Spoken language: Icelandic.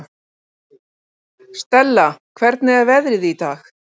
Stella, hvernig er veðrið í dag?